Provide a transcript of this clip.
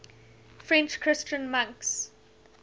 french christian monks